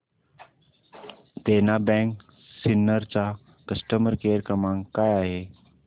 देना bank Sinnar चा customer care क्रमांक काय आहे